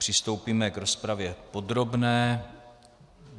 Přistoupíme k rozpravě podrobné.